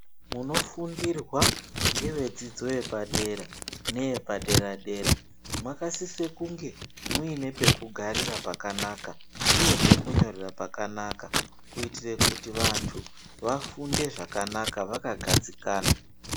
Munofundirwa nevedzidzo yepadera nevepadera dera makasise kunge muine pekugarira pakanaka uye pekunyorera pakanaka kutire kuti vantu vafunde zvakanaka vakagadzikana.